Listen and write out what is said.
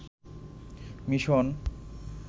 mission